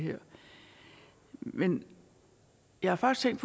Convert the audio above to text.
her men jeg har faktisk